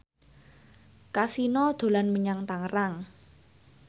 Kasino dolan menyang Tangerang